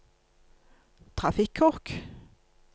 trafikkork